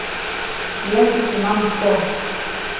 Jaz jih imam sto!